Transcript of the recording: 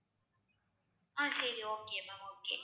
ஆஹ் சரி okay ma'am okay